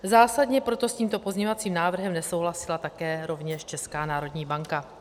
Zásadně proto s tímto pozměňovacím návrhem nesouhlasila také rovněž Česká národní banka.